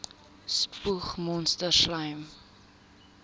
spoeg monsters slym